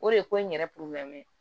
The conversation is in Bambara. O de ye ko in yɛrɛ